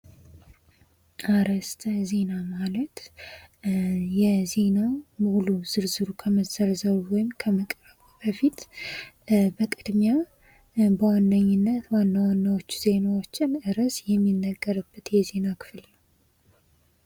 አርዕስተ ዜና ማለት የዜናዉ ሙሉ ዝርዝሩ ከመዘርዘሩ ወይም ከመቅረቡ በፊት በቅድሚያ በዋነኝነት ዋና ዋናዎችን ዜናዎችን ርዕስ የሚነገርበት የዜና ክፍል ነዉ።